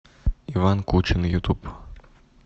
иван кучин ютуб